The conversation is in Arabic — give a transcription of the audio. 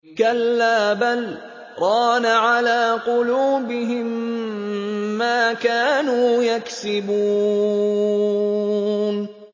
كَلَّا ۖ بَلْ ۜ رَانَ عَلَىٰ قُلُوبِهِم مَّا كَانُوا يَكْسِبُونَ